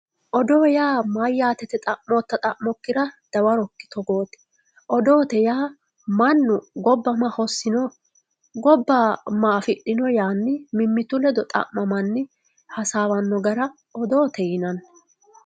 Oddo yaa mayyaate yitte xamotae xamora dawaroki togote oddote ya mannu gobba ma hosino gobba ma afidhino yanni mimitu leddo xamamanni hasawano hara oddote yinanni